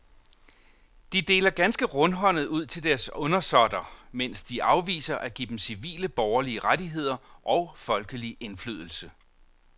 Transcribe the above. De deler ganske rundhåndet ud til deres undersåtter, mens de afviser at give dem civile borgerlige rettigheder og folkelig indflydelse.